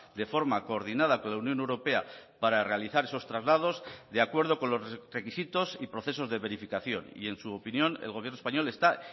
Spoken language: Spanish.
de forma coordinada con la unión europea para realizar esos traslados de acuerdo con los requisitos y procesos de verificación y en su opinión el gobierno español está